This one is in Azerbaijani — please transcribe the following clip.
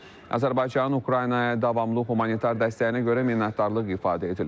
Azərbaycanın Ukraynaya davamlı humanitar dəstəyinə görə minnətdarlıq ifadə edilib.